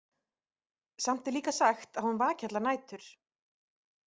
Samt er líka sagt að hún vaki allar nætur.